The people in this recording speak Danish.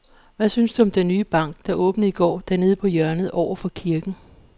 Hvad synes du om den nye bank, der åbnede i går dernede på hjørnet over for kirken?